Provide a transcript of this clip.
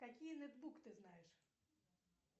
какие нетбук ты знаешь